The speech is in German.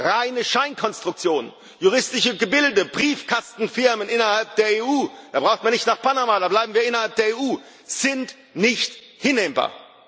Reine Scheinkonstruktionen, juristische Gebilde, Briefkastenfirmen innerhalb der EU da braucht man nicht nach Panama, da bleiben wir innerhalb der EU sind nicht hinnehmbar.